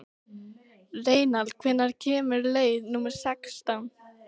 Reynald, hvenær kemur leið númer sextán?